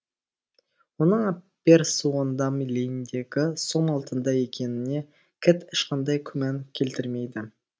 оның аппер суондам лейндегі сом алтында екеніне кэт ешқандай күмән келтірмейді